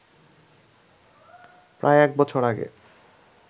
প্রায় এক বছর আগে